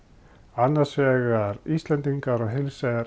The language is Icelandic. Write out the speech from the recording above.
annars vegar Íslendingar og hins vegar